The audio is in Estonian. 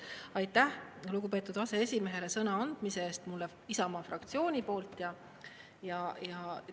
Aitäh lugupeetud aseesimehele mulle kui Isamaa fraktsiooni esindajale sõna andmise eest!